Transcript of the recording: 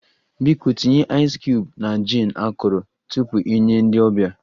Biko tinye aịzị cubuu na jin akọrọ tupu ị nye ndị ọbịa